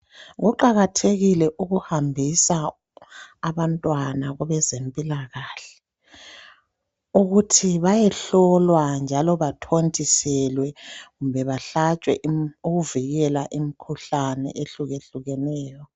Kuqakathekile ukuhambisa abantwana kwabezempilakahle ukuthi bayehlolwa njalo bathontiselwe kumbe bahlatshwe ukuvikela imikhuhlane ehluke hlukeneyo.